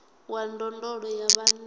wa ndondolo ya vhana a